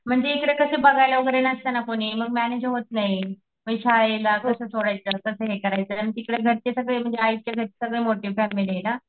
म्हणजे इकडे कसं बघायला वैगरे नसत ना कोणी मग मॅनेज होत नाही मग शाळेला कस सोडायचं कस हे करायचं आन तिकडं घरचे सगळे म्हणजे आईच्या घरची सगळी मोठी फॅमिली ना